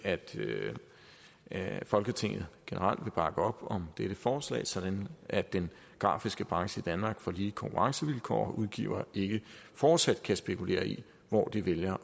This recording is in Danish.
at folketinget generelt vil bakke op om dette forslag sådan at den grafiske branche i danmark får lige konkurrencevilkår og udgivere ikke fortsat kan spekulere i hvor de vælger